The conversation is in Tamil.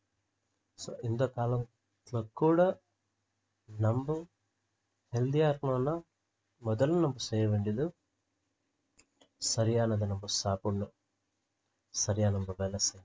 so இந்த காலம் ~த்துலகூட நம்ப healthy ஆ இருக்கணும்னா முதல் நம்ப செய்ய வேண்டியது சரியானதை நம்ப சாப்பிடணும் சரியா நம்ப வேலை செய்ய~